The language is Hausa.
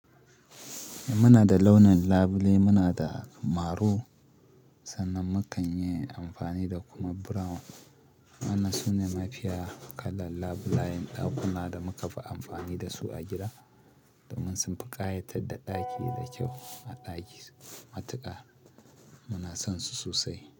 Muna da launin labule, muna da marun sannan mu kan yi amfani da kuma brown. Wannan sune mafiya kalar labulayen ɗakuna da muka fi amfani da su a gida. Domin sun fi ƙayatar da ɗaki da kyau a ɗaki matuƙa muna son su sosai.